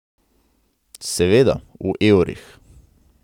Seveda, v evrih.